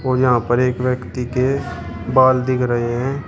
यहां पर एक व्यक्ती के बाल दिख रहे हैं।